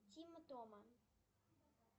тима тома